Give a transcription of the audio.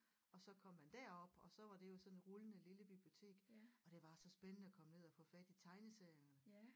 Og så kom man derop og så var det jo sådan et rullende lille bibliotek og det var så spændende at komme ned og få fat i tegneserierne